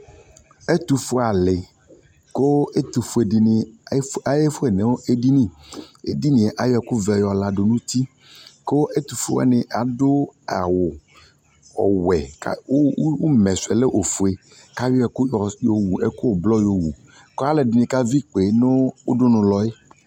ɛtʋfʋɛ ali kʋ ɛtʋfʋɛ alʋɛdini ayɛ fʋɛ nʋ ɛdini, ɛdiniɛ ayɔ ɛkʋ vɛ di yɔ yadʋ nʋ ʋti kʋ ɛtʋfʋɛ alʋ wani adʋ awʋ ɔwɛ kʋʋmɛ sʋɛ lɛ ɔfʋɛ kʋ ayɔ ɛkʋ blɔ yɔ wʋ kʋ alʋɛdini ka vi ikpɛ nʋ ʋdʋnʋ nɔɛ